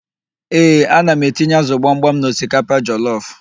Ee, ana m etinye ázụ̀ gbamgbam n'osikapa jọlọf.